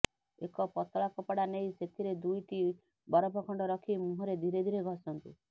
ଏକ ପତଳା କପଡା ନେଇ ସେଥିରେ ଦୁଇଟି ବରଫଖଣ୍ଡ ରଖି ମୁହଁରେ ଧୀରେ ଧୀରେ ଘଷନ୍ତୁ